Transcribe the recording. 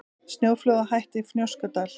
Snjóflóðahætta í Fnjóskadal